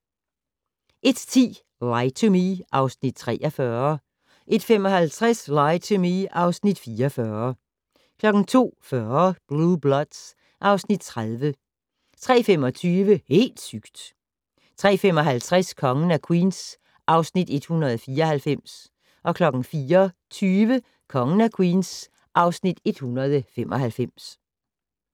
01:10: Lie to Me (Afs. 43) 01:55: Lie to Me (Afs. 44) 02:40: Blue Bloods (Afs. 30) 03:25: Helt sygt! 03:55: Kongen af Queens (Afs. 194) 04:20: Kongen af Queens (Afs. 195)